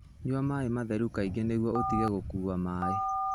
Nyua maĩ matheru kaingĩ nĩguo ũtige gũkua maĩ.